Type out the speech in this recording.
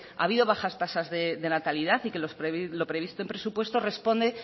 ha habido bajas tasas de natalidad y que lo previsto en presupuesto responde